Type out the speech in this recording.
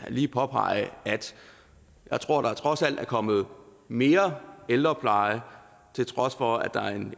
lige påpege at jeg tror der trods alt er kommet mere ældrepleje til trods for at